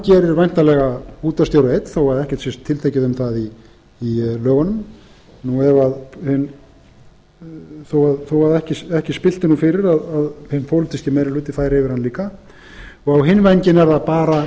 gerir væntanlega útvarpsstjóra einn þótt ekkert sé tiltekið um það í lögunum þó ekki spillti nú fyrir að hinn pólitíski meiri hluti færi yfir hann líka á hinn vænginn er það bara